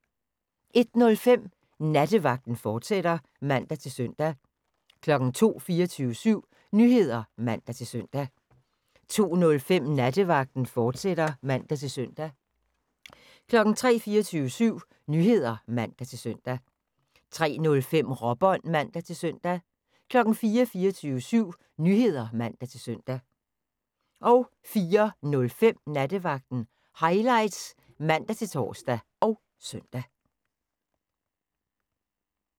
01:05: Nattevagten, fortsat (man-søn) 02:00: 24syv Nyheder (man-søn) 02:05: Nattevagten, fortsat (man-søn) 03:00: 24syv Nyheder (man-søn) 03:05: Råbånd (man-søn) 04:00: 24syv Nyheder (man-søn) 04:05: Nattevagten Highlights (man-tor og søn)